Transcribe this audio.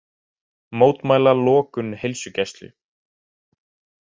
Mótmæla lokun heilsugæslu